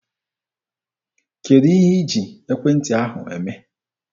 Kedụ ihe iji ekwentị ahụ eme?